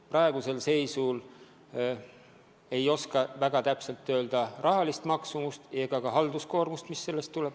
Praeguses seisus ei oska täpselt öelda rahalist maksumust ega ka halduskoormust, mis sellega kaasneb.